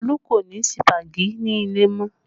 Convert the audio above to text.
Olu kò ní sípàgì nílé mọ́